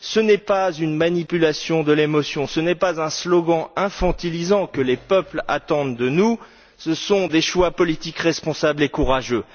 Ce n'est pas une manipulation de l'émotion, ce n'est pas un slogan infantilisant que les peuples attendent de nous, ce sont des choix politiques et responsables courageux.